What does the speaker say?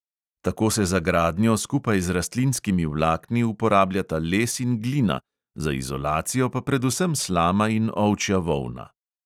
Tako se za gradnjo skupaj z rastlinskimi vlakni uporabljata les in glina, za izolacijo pa predvsem slama in ovčja volna.